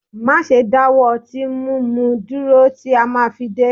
Máṣe dáwọ́ ọtí múnu dúró títí màá fi dé